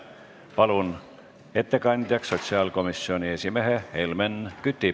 Palun ettekandjaks sotsiaalkomisjoni esimehe Helmen Küti.